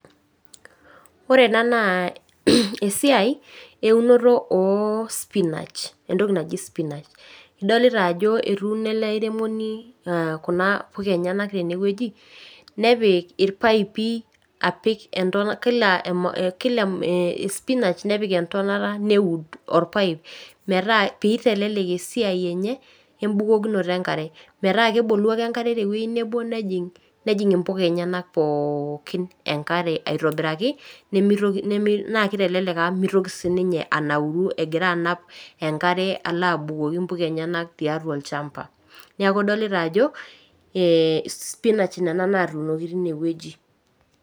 Ore ena naa esiai eunoto oo spinach. Entoki naji spinach. Adolita ajo etuuno ele airemoni kuna puka enyanak teneoji nepik ilpaipi apik kila esipinach nepik entonata neud olpaip pee eitelelek esiai enye embukokinoto enkare, metaa kebolu ake enkare tewoji nebo nejing imbuka enyanak pookin enkare aitobiiraki naa kitelelek amu mitoki sininye anauro egira anap enkare egira alo abukoki imbuka enyanak tiatua olchamba. Neeku idolita ajo spinach nena natuunoki tineoji.